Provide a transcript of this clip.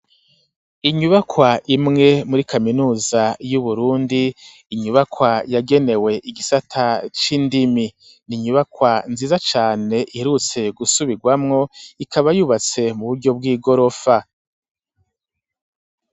Inyubakwa imwe muri kaminuza y'uBurundi inyubakwa yagenewe igisata c'indimi ninyubakwa nziza cane iherutse gusubirwamo ikaba yubatse mu buryo bw'igorofa.